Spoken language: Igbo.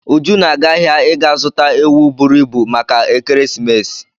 Uju na-aga ahịa ịga zuta ewu buru ibu maka ekeresimesi.